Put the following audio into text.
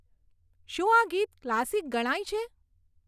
શું આ ગીત ક્લાસિક ગણાય છે